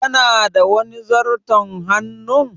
Kana da wani zarton hannun?